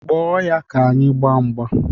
Kpọọ ya ka anyị gbaa mgba!